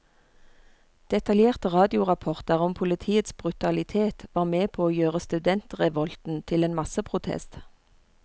Detaljerte radiorapporter om politiets brutalitet var med på å gjøre studentrevolten til en masseprotest.